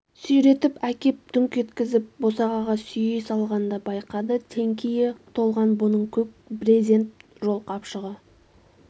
сүйретіп әкеп дүңк еткізіп босағаға сүйей салғанда байқады теңкие толған бұның көк брезент жол қапшығы